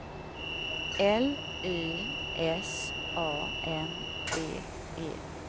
L Y S A N D E